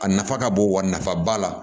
A nafa ka bon wa nafa ba la